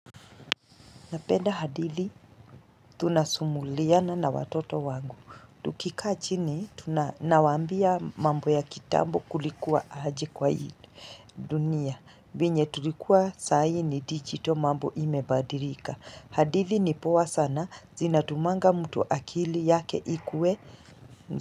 Ninapenda hadithi, tunasimuliana na watoto wangu. Tukikaa chini, tunawambia mambo ya kitambo kulikuwa aje kwa hii dunia. Venye tulikuwa saa hii ni digital mambo imebadirika. Hadithi ni powa sana, zinatumanga mtu akili yake ikue.